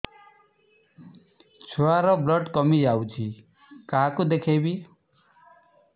ଛୁଆ ର ବ୍ଲଡ଼ କମି ଯାଉଛି କାହାକୁ ଦେଖେଇବି